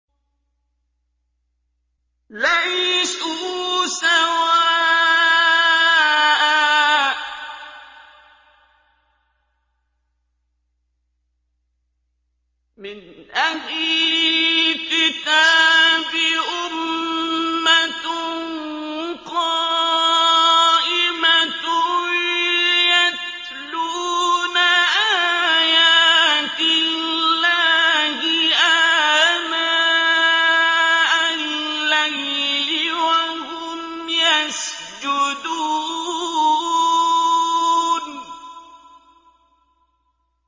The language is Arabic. ۞ لَيْسُوا سَوَاءً ۗ مِّنْ أَهْلِ الْكِتَابِ أُمَّةٌ قَائِمَةٌ يَتْلُونَ آيَاتِ اللَّهِ آنَاءَ اللَّيْلِ وَهُمْ يَسْجُدُونَ